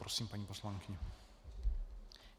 Prosím, paní poslankyně.